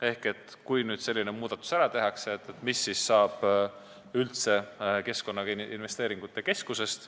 Esiteks, kui nüüd selline muudatus ära tehakse, siis mis saab üldse Keskkonnainvesteeringute Keskusest.